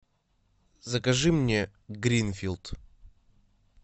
закажи мне гринфилд